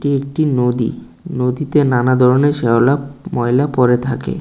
একটি নদী নদীতে নানা ধরনের শ্যাওলা ময়লা পড়ে থাকে।